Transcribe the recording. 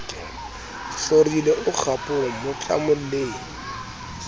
hlorile o kgapong mo tlamolleng